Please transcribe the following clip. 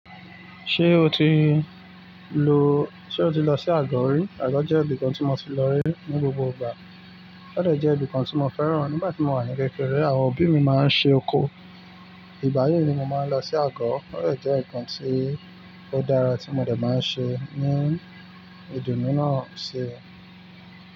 Ṣé o ti lo--Ṣé o ti lọ sí Àgọ̀ rí? Àgọ̀ jẹ́ ibìkan tí mo ti lọ rí ní gbogbo ìgbà. O de jẹ́ ibìkan tí mo fẹ́ràn. Nígbà tí mo wà ní kékeré, àwọn òbí mi máa ń ṣe oko. Ìgbayii ni mo máa ń lọ sí àgọ̀. Ó de jẹ́ ǹkan tí ó dára tí mo dẹ̀ máa ń ṣe ní ìdùnnú náà ṣi.